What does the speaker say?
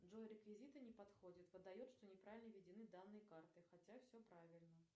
джой реквизиты не подходят выдает что неправильно введены данные карты хотя все правильно